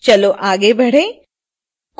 चलो आगे बढ़ें